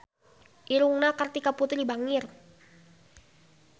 Irungna Kartika Putri bangir